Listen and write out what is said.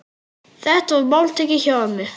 Þetta var máltæki hjá ömmu.